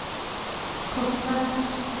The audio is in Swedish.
korta